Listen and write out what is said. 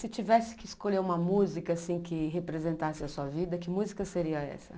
Se tivesse que escolher uma música assim que representasse a sua vida, que música seria essa?